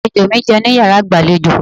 Àlejò mi jẹun ní yàrá ìgbàlejò.